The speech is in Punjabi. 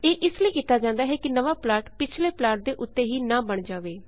ਇਹ ਇਸ ਲਈ ਕੀਤਾ ਜਾਂਦਾ ਹੈ ਕਿ ਨਵਾਂ ਪਲਾਟ ਪਿਛਲੇ ਪਲਾਟ ਦੇ ਉੱਤੇ ਹੀ ਨਾਂ ਬਣ ਜਾਵੇ